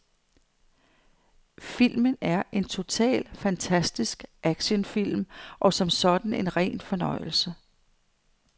Filmen er en total fantastisk actionfilm og som sådan en ren fornøjelse.